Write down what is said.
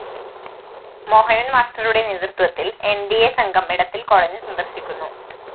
മോഹനന്‍ മാസ്റ്ററുടെ നേതൃത്വത്തില്‍ ന്‌ ഡി അ സംഘം എടത്തില്‍ കോളനി സന്ദര്‍ശിക്കുന്നു